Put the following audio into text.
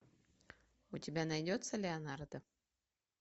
у тебя найдется леонардо